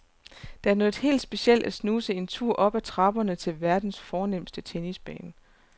Det er noget helt specielt at snuse en tur op ad trapperne til verdens fornemste tennisbane.